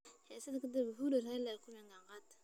Xiisadda ka dib, Uhuru iyo Raila ayaa ku kulmay gacan qaad.